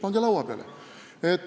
Pange laua peale!